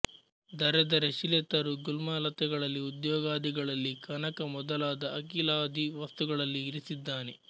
ಧರೆಧರೆ ಶಿಲೆ ತರು ಗುಲ್ಮ ಲತೆಗಳಲ್ಲಿ ಉದ್ಯೋಗಾದಿಗಳಲ್ಲಿ ಕನಕ ಮೊದಲಾದ ಅಖಿಲಾದಿ ವಸ್ತುಗಳಲ್ಲಿ ಇರಿಸಿದ್ದಾನೆ